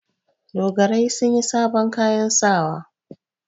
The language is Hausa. Dogarai sun yi sabon kayan sawa.